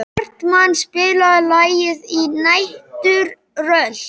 Hartmann, spilaðu lagið „Næturrölt“.